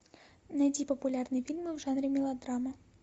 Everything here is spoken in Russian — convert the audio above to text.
найди популярные фильмы в жанре мелодрама